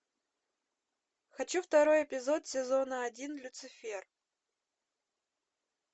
хочу второй эпизод сезона один люцифер